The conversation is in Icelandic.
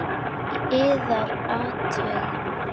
Yðar Hátign!